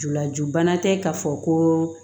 Julaju bana tɛ ka fɔ ko